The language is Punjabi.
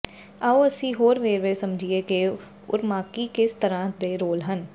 ਆਉ ਅਸੀਂ ਹੋਰ ਵੇਰਵੇ ਸਮਝੀਏ ਕਿ ਉਰਮਾਕੀ ਕਿਸ ਤਰ੍ਹਾਂ ਦੇ ਰੋਲ ਹਨ